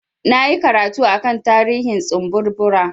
Na yi karatu a kan tarihin tsumburbura.